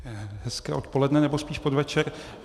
Hezké odpoledne, nebo spíš podvečer.